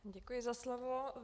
Děkuji za slovo.